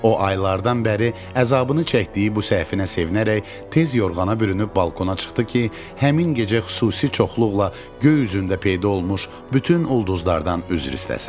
O aylardan bəri əzabını çəkdiyi bu səhvinə sevinərək tez yorğana bürünüb balkona çıxdı ki, həmin gecə xüsusi çoxluqla göy üzündə peyda olmuş bütün ulduzlardan üzr istəsin.